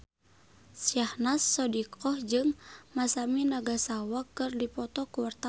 Syahnaz Sadiqah jeung Masami Nagasawa keur dipoto ku wartawan